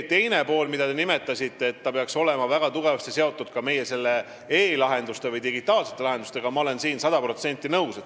Sellega, mida te nimetasite, et see peaks olema väga tugevasti seotud ka e-lahenduste või digitaalsete lahendustega, olen ma sada protsenti nõus.